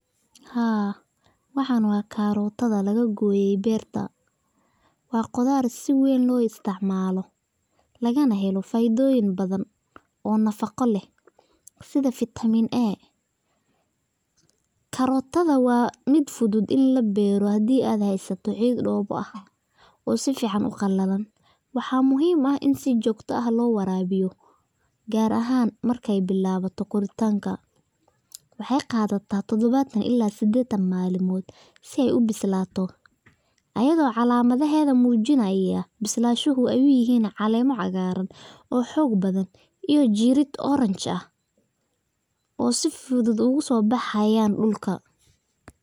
Haa, waxan waa karotada laga goye beerta, waa qudaar si weyn loo isticmaalo lagana helo fa'iidoyin badan oo nafaqo leh sida vitamin A karotada waa mid fudud in la beero hadii ad haasatid ciid dhob ah oo si fican u qalalan waxaa muhiim ah in si jogto ah loo warabiyo, gaar ahan markay bilawato guritanka, waxay qadataa todobatan ila sideetan malimod si ay u bislaato, ayado calamadaheda muujinaya ,bislanshuhu ay uyihin caleema cagaaran oo xog badan iyo jirid orange ah oo si fudud ogaso baxayaan dhulka